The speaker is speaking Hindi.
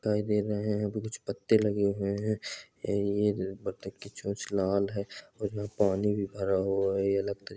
दिखाई दे रहे है कुछ पत्ते लगे हुए है ये बत्तख की चोंच लाल है और यहां पानी भी भरा हुआ है--